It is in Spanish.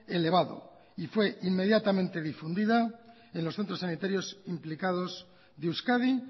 elevado y fue inmediatamente difundida en los centros sanitarios implicados de euskadi